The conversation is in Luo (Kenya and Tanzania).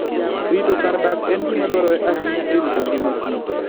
Rito kar dak en gima dwarore ahinya e rito ngima Kich